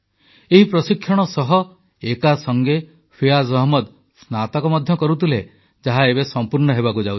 ଏହି ପ୍ରଶିକ୍ଷଣ ସହ ଏକାସଙ୍ଗେ ଫିୟାଜ୍ ଅହମ୍ମଦ ସ୍ନାତକ ମଧ୍ୟ କରୁଥିଲେ ଯାହା ଏବେ ସମ୍ପୂର୍ଣ୍ଣ ହେବାକୁ ଯାଉଛି